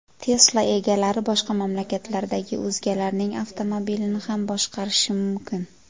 Tesla egalari boshqa mamlakatlardagi o‘zgalarning avtomobilini ham boshqarishi mumkin.